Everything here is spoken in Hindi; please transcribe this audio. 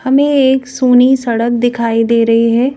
हमें एक सूनी सड़क दिखाई दे रही है।